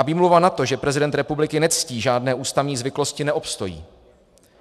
A výmluva na to, že prezident republiky nectí žádné ústavní zvyklosti, neobstojí.